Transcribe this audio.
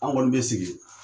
An kɔni be sigi.